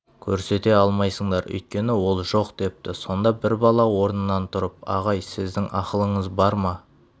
көрсете алмайсыңдар өйткені ол жоқ депті сонда бір бала орнынан тұрып ағай сіздің ақылыңыз бар ма